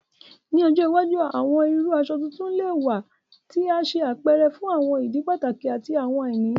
Ni ọjọ iwaju, awọn iru aṣọ tuntun lè wà tí a ṣe àpẹrẹ fún àwọn ìdí pàtàkì àti àwọn àìní.